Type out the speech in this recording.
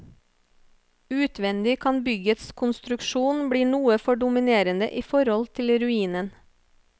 Utvendig kan byggets konstruksjon bli noe for dominerende i forhold til ruinen.